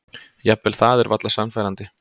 Jafnvel það er varla sannfærandi.